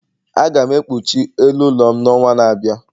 Aga m ekpuchi elu ụlọ m n'ọnwa na-abịa